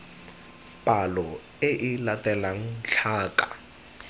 palo e e latelang tlhaka